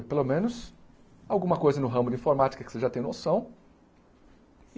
Pelo menos alguma coisa no ramo de informática que você já tem noção.